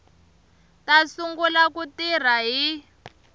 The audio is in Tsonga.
ta sungula ku tirha hi